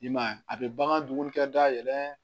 I m'a ye a bɛ bagan dumunikɛ dayɛlɛ